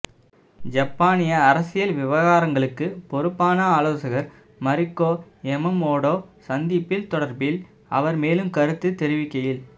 யப்பானிய அரசியல் விவகாரங்களுக்கு பொறுப்பான ஆலோசகர் மறிக்கோ யமமோடோ சந்திப்பு தொடர்பில் அவர் மேலும் கருத்து தெரிவிக்கையில்